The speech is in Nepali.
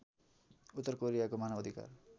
उत्तर कोरियाको मानवअधिकार